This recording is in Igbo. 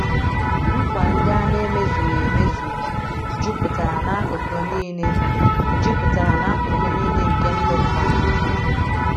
Nkwa ndị a na - emezughị emezu jupụtara n’akụkụ nile jupụtara n’akụkụ nile nke ndụ mmadụ.